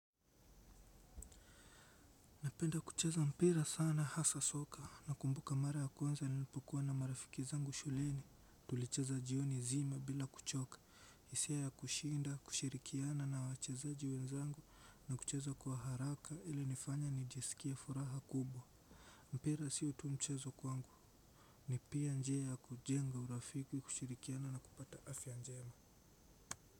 Napenda kucheza mpira sana hasa soka nakumbuka mara ya kwanza nilipokuwa na marafiki zangu shuleni. Tulicheza jioni zima bila kuchoka. Hisia ya kushinda, kushirikiana na wachezaji wenzangu na kucheza kwa haraka ilinifanya nijisikia furaha kubwa. Mpira sio tu mchezo kwangu. Ni pia njia ya kujenga urafiki kushirikiana na kupata afya njema.